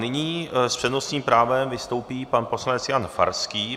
Nyní s přednostním právem vystoupí pan poslanec Jan Farský.